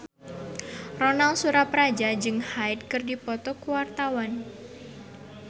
Ronal Surapradja jeung Hyde keur dipoto ku wartawan